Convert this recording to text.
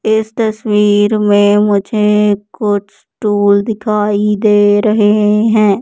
इस तस्वीर मुझे कुछ टूल दिखाई दे रहे हैं।